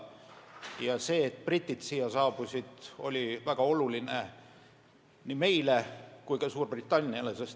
Ja see, et britid siia saabusid, oli väga oluline nii meile kui ka Suurbritanniale.